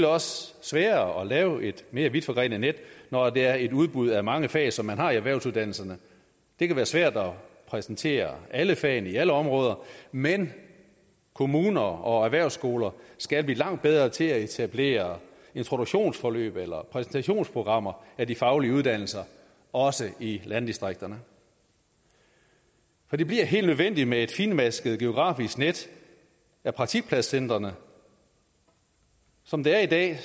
også sværere at lave et mere vidtforgrenet net når det er et udbud af mange fag som man har i erhvervsuddannelserne det kan være svært at præsentere alle fagene i alle områder men kommuner og erhvervsskoler skal blive langt bedre til at etablere introduktionsforløb eller præsentationsprogrammer af de faglige uddannelser også i landdistrikterne for det bliver helt nødvendigt med et fintmasket geografisk net af praktikpladscentrene som det er i dag